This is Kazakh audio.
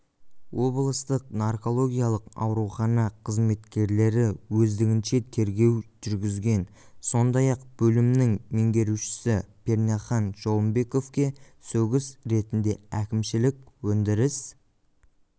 облыстық наркологиялық аурухана қызметкерлері өздігінше тергеу жүргізген сондай-ақ бөлімнің меңгерушісі пернехан жолымбековке сөгіс ретінде әкімшілік өндіріс